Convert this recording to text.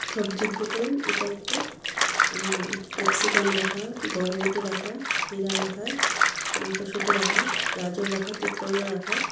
সব্জীর দুকান ইটা একটা উম ক্যাপসিকাম রাখা বরবটি রাখা ক্ষীরা রাখা মটরশুঁটি রাখা গাজর রাখা তিত করোলা রাখা।